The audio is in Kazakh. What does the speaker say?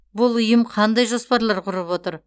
бұл ұйым қандай жоспарлар құрып отыр